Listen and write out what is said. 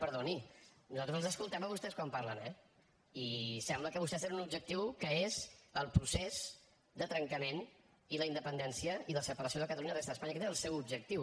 perdoni nosaltres els escoltem a vostès quan parlen eh i sembla que vostès tenen un objectiu que és el procés de trencament i la independència i la separació de catalunya de la resta d’espanya aquest és el seu objectiu